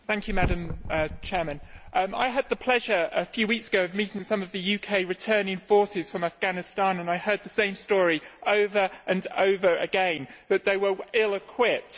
Madam President, I had the pleasure a few weeks ago of meeting some of the UK returning forces from Afghanistan and I heard the same story over and over again that they were ill equipped.